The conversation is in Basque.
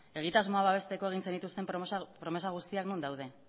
egitasmoa babesteko egin zenituzten promesa guztiak non daude